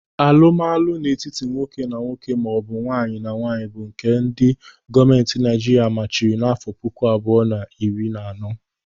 Alụmalụ n'etiti nwoke na nwoke maọbụ nwaanyị na nwaanyị bụ nke ndị gọọmenti Naịjiria machiri n'afọ puku abụọ na iri na anọ.